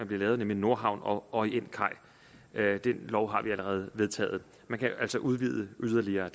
blive lavet nemlig nordhavn station og orientkaj den lov har vi allerede vedtaget man kan altså udvide yderligere og